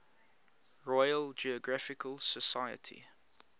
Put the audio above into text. royal geographical society